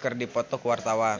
keur dipoto ku wartawan